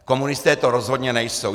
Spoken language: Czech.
Komunisté to rozhodně nejsou.